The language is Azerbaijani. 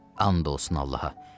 And olsun Allaha.